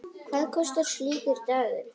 Hvað kostar slíkur dagur?